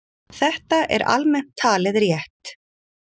Þetta er almennt talið rétt.